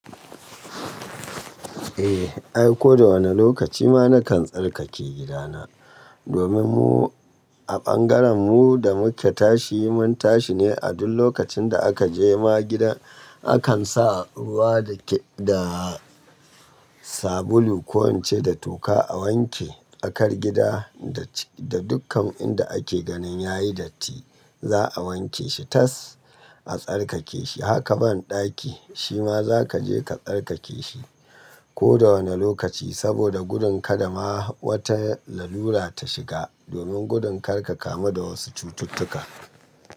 Eh, ai ko da wane lokaci ma na kan tsarkake gidana. Domin mu a ɓangaren mu da mu ke tashi mun tashi ne a duk lokacin da aka je ma gidan akan sa ruwa da ke da sabulu ko ince da toka a wanke. Akar gida da dukkan inda ake ganin yayi datti za'a wanke shi tas a tsarkake shi. Haka ban ɗaki shima za ka je ka tsarkake shi ko da wane lokaci saboda gudun kada ma wata lalura ta shiga. Domin gudun kar ka kamu da wasu cututtuka.